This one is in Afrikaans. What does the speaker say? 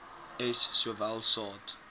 s sowel saad